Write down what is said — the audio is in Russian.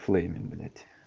в флейме блять